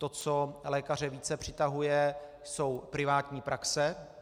To, co lékaře více přitahuje, jsou privátní praxe.